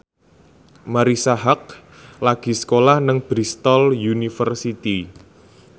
Marisa Haque lagi sekolah nang Bristol university